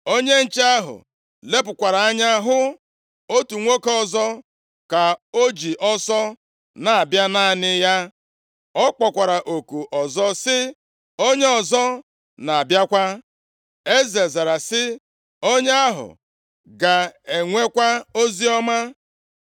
onye nche ahụ lepụkwara anya hụ otu nwoke ọzọ ka o ji ọsọ na-abịa naanị ya. Ọ kpọkwara oku ọzọ sị, “Onye ọzọ na-abịakwa.” Eze zara sị, “Onye ahụ ga-enwekwa oziọma.”